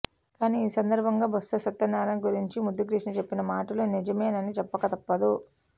కానీ ఈ సందర్భంగా బొత్స సత్యనారాయణ గురించి ముద్దు కృష్ణ చెప్పిన మాటలు నిజమేనని చెప్పక తప్పదు